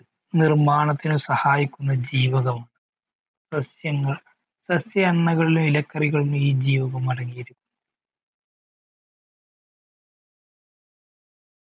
നിർമാണത്തിന് സഹായിക്കുന്ന ജീവകം സസ്യങ്ങൾ സസ്യങ്ങളിലെ ഇലക്കറികളിൽ ഈ ജീവകം അടങ്ങീരിക്കുന്ന